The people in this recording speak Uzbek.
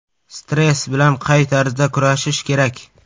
Stress bilan qay tarzda kurashish kerak?